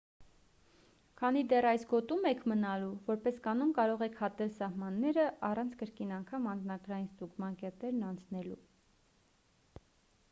քանի դեռ այս գոտում եք մնալու որպես կանոն կարող եք հատել սահմանները առանց կրկին անգամ անձնագրային ստուգման կետերն անցնելու